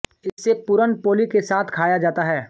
इसे पुरन पोली के साथ खाया जाता है